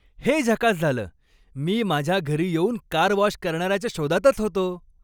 हे झकास झालं! मी माझ्या घरी येऊन कार वॉश करणाऱ्याच्या शोधातच होतो.